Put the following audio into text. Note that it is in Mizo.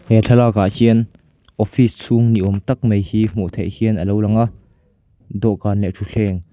he thlalakah hian office chhung ni awm tak mai hi hmuh theih hian alo lang a dawhkan leh thutthleng--